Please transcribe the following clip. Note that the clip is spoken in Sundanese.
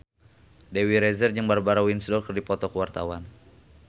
Dewi Rezer jeung Barbara Windsor keur dipoto ku wartawan